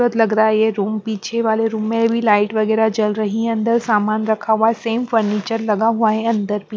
बहुत लग रहा है ये रूम पीछे वाले रूम में भी लाइट वगैरह जल रही है अंदर सामान रखा हुआ है सेम फर्नीचर लगा हुआ है अंदर भी --